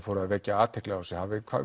fóruð að vekja athygli á þessu